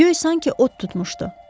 Göy sanki od tutmuşdu.